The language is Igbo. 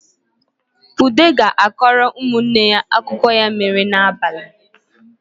Ude ga-akọrọ ụmụ nne ya akụkọ ya mere n’abalị